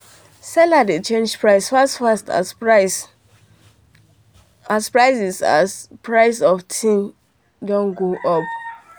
sellers dey change price fast fast as prices as prices of things doh go up